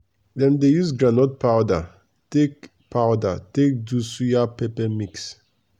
dem dey use groundnut powder take powder take do suya pepper mix.